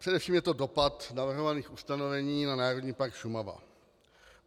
Především je to dopad navrhovaných ustanovení na Národní park Šumava.